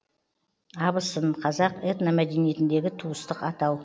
абысын қазақ этномәдениетіндегі туыстық атау